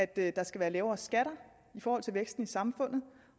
det er at der skal være lavere skatter i forhold til væksten i samfundet